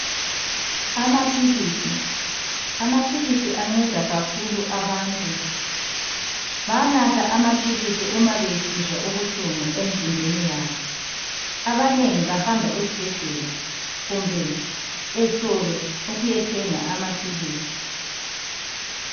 Amaphilisi, amaphilisi anceda kakhulu abantu. Bayanatha amaphilisi uma besizwa ubuhlungu emzimbeni yabo. Abanengi bahamba esibhedlela kumbe esitolo ukuyathenga amaphilisi.